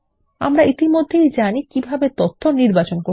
আমরা ইতিমধ্যেই জানি কিভাবে তথ্য নির্বাচন করতে হয়